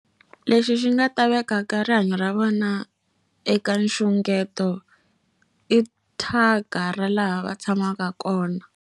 Lexi xi nga ta vekaka rihanyo ra vona eka nxungeto i thyaka ra laha va tshamaka kona.